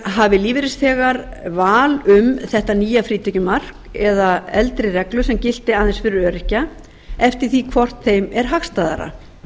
hafi lífeyrisþegar val um þetta nýja frítekjumark eða eldri reglu sem gilti aðeins fyrir öryrkja eftir því hvort er þeim hagstæðara